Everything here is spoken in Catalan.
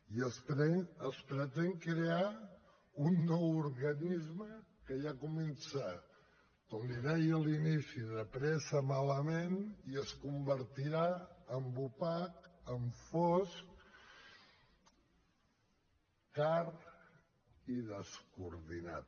i es pretén crear un nou organisme que ja comença com li deia a l’inici de pressa malament i es convertirà en opac en fosc car i descoordinat